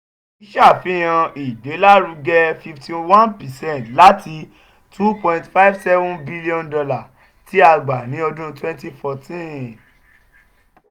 eyi ṣe afihan igbelaruge fifty one percent lati two point five seven cilli on dollar ti a gba ni ọdun twenty fourteen